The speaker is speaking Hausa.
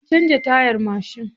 Mun canza tayar mashin.